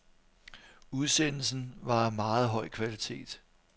Udsendelsen var af meget høj kvalitet.